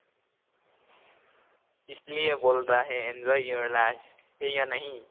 esliye বোলতা hai enjoy your life abhi অৰ nahi